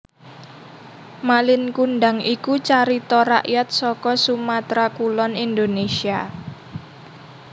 Malin Kundang iku carita rakyat saka Sumatra Kulon Indonésia